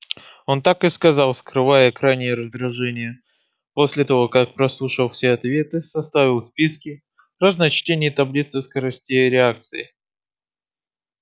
он так и сказал скрывая крайнее раздражение после того как прослушал все ответы составил списки разночтений и таблицы скоростей реакции